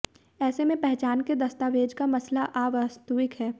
ऐसे में पहचान के दस्तावेज का मसला अवास्तविक है